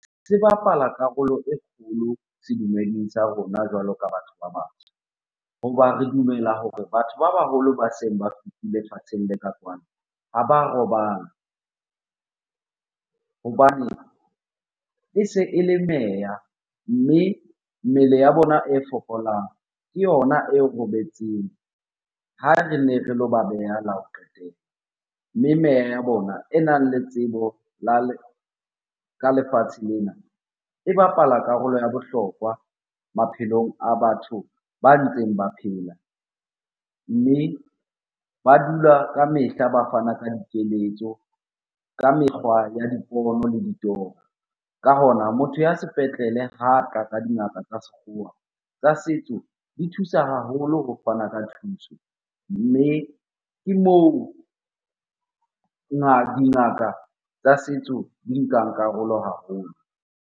Se bapala karolo e kgolo sedumeding sa rona jwalo ka batho ba batsho. Hoba re dumela hore batho ba baholo ba seng ba fetile lefatsheng le ka kwano ha ba robala. Hobane e se e le meya, mme mmele ya bona e fokolang ke yona e robetseng ha rene re lo ba beha la ho qetela. Mme meya ya bona e nang le tsebo ka lefatshe lena e bapala karolo ya bohlokwa maphelong a batho ba ntseng ba phela. Mme ba dula ka mehla, ba fana ka dikeletso ka mekgwa ya dipono le ditoro. Ka hona, motho ya sepetlele ka dingaka tsa sekgowa, tsa setso di thusa haholo ho fana ka thuso. Mme ke moo dingaka tsa setso di nkang karolo haholo.